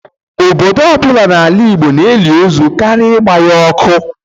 Obodo ọbụla n'ala Igbo na-eli ozu karịa ịgba ya ọkụ.